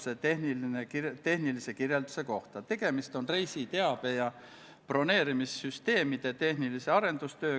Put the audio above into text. Sellel istungil kiitis riigikaitsekomisjon konsensuslikult heaks eelnõu teise lugemise teksti ja seletuskirja.